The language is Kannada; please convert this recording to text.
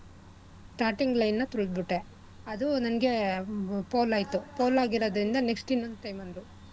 Starting line ನ ತುಳ್ದ್ಬಿಟ್ಟೆ ಅದು ನಂಗೆ foul ಆಯ್ತು. foul ಆಗಿರೋದ್ರಿಂದ next ಇನ್ನೊಂದ್ time ಅಂದ್ರು